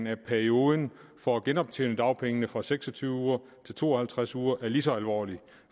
af perioden for at genoptjene dagpengene fra seks og tyve uger til to og halvtreds uger er lige så alvorlig